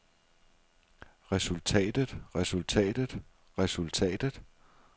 resultatet resultatet resultatet